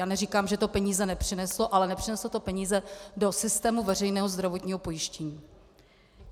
Já neříkám, že to peníze nepřineslo, ale nepřineslo to peníze do systému veřejného zdravotního pojištění.